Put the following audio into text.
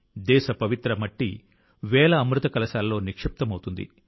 దేశ పవిత్ర మట్టి వేల అమృత కలశాల్లో నిక్షిప్తమవుతుంది